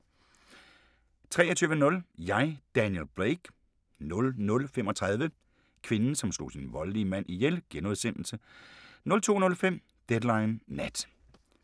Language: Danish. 23:00: Jeg, Daniel Blake 00:35: Kvinden, som slog sin voldelige mand ihjel * 02:05: Deadline Nat